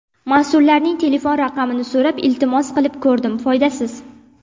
Mas’ullarning telefon raqamini so‘rab iltimos qilib ko‘rdim, foydasiz.